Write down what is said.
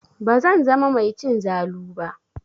Bazan zama mai cin zalu ba.